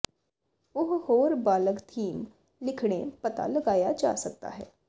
ਉਹ ਹੋਰ ਬਾਲਗ ਥੀਮ ਲਿਖਣੇ ਪਤਾ ਲਗਾਇਆ ਜਾ ਸਕਦਾ ਹੈ